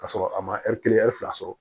K'a sɔrɔ a ma kelen fila sɔrɔ